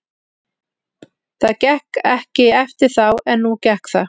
Það gekk ekki eftir þá en nú gekk það.